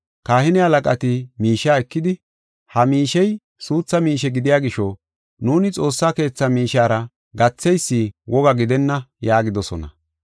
Kahine halaqati miishiya ekidi, “Ha miishey suutha miishe gidiya gisho, nuuni Xoossa Keethaa miishiyara gatheysi woga gidenna” yaagidosona.